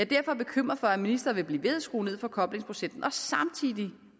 derfor bekymret for at ministeren vil blive ved skrue ned for koblingsprocenten og samtidig